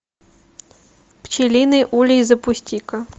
пчелиный улей запусти ка